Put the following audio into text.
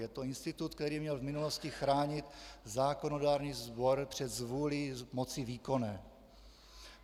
Je to institut, který měl v minulosti chránit zákonodárný sbor před zvůlí moci výkonné.